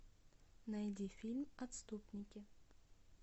найди фильм отступники